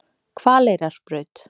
Hvaleyrarbraut